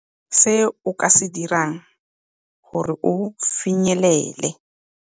Se o ka se dirang gore o finyelele.